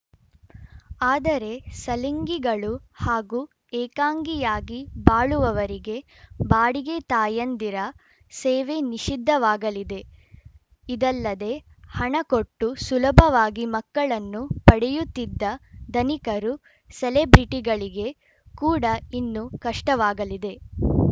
ಆದರೆ ಸಲಿಂಗಿಗಳು ಹಾಗೂ ಏಕಾಂಗಿಯಾಗಿ ಬಾಳುವವರಿಗೆ ಬಾಡಿಗೆ ತಾಯಂದಿರ ಸೇವೆ ನಿಷಿದ್ಧವಾಗಲಿದೆ ಇದಲ್ಲದೆ ಹಣ ಕೊಟ್ಟು ಸುಲಭವಾಗಿ ಮಕ್ಕಳನ್ನು ಪಡೆಯುತ್ತಿದ್ದ ಧನಿಕರು ಸೆಲೆಬ್ರಿಟಿಗಳಿಗೆ ಕೂಡ ಇನ್ನು ಕಷ್ಟವಾಗಲಿದೆ